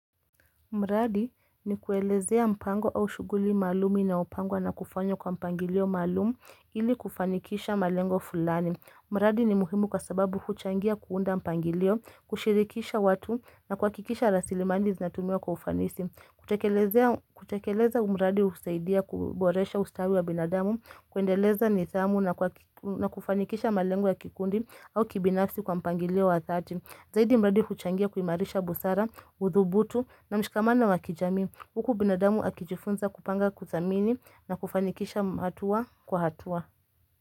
Mradi ni kuelezea mpango au shughuli maalum inayopangwa na kufanywa kwa mpangilio maalum ili kufanikisha malengo fulani. Mradi ni muhimu kwa sababu kuchangia kuunda mpangilio, kushirikisha watu na kuhakikisha rasilimali zinatumiwa kwa ufanisi. Utekele kutekeleza huu mradi husaidia kuboresha ustawi wa binadamu, kuendeleza nidhamu na kufanikisha malengo ya kikundi au kibinafsi kwa mpangilio wa thati. Zaidi mradi huchangia kuimarisha busara, udhubutu na mshikamano wa kijamii Huku binadamu akijifunza kupanga kuthamini na kufanikisha hatua kwa hatua.